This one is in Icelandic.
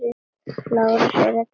LÁRUS: Er að treysta því?